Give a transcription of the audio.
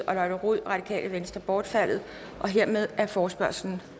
og lotte rod bortfaldet hermed er forespørgslen